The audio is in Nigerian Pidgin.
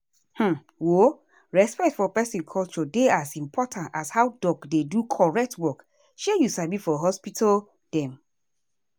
hmmm um respect for peson culture dey as important as how doc dey do correct work shey you sabi for hospital dem.